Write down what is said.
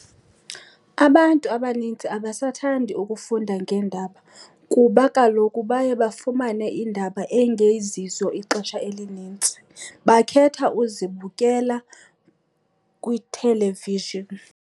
Abantu abanintsi abasathandi ukufunda ngeendaba kuba kaloku baye bafumane iindaba eyingezizo ixesha elinintsi. Bakhetha uzibukela kwi-television.